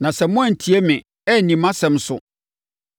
“ ‘Na sɛ moantie me, anni mʼasɛm so,